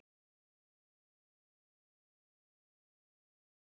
Minna er gert úr gífurlegri stærð hvalsins en hversu klókur hann er og grimmur.